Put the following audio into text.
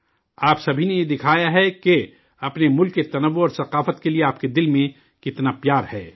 آپ سبھی نے یہ دکھایا ہے کہ اپنے ملک کی تکثیریت اور ثقافت کے لیے آپ کے دل میں کتنا پیار ہے